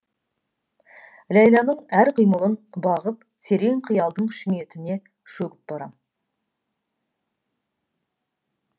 ләйланың әр қимылын бағып терең қиялдың шүңетіне шөгіп барам